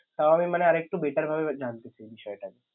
তাও আমি মানে আর একটু better ভাবে এবার জানতে চাই বিষয়টা।